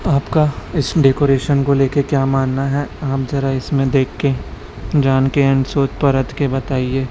आपका इस डेकोरेशन को लेके क्या मानना है आप जरा इसमें देखके जान के एंड सोच परत के बताइए।